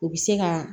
U bɛ se ka